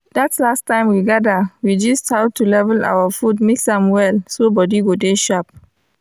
that last time we gada we gist how to level our food mix am well so body go dey sharp.